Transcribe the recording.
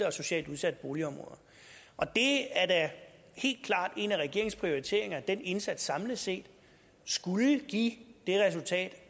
og socialt udsatte boligområder det er da helt klart en af regeringens prioriteringer at den indsats samlet set skulle give det resultat